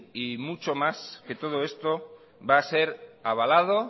y mucho más que todo esto va a ser avalado